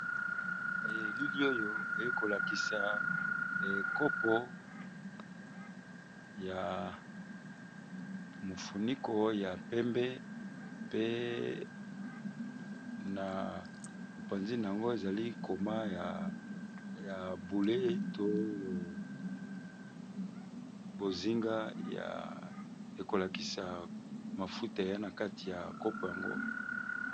elili oyo ekolakisa ekopo ya mofuniko ya pembe pe na bopanzina yango ezali na langi ya bozinga , ekolakisa mafuta eza na kati ya kopo yango.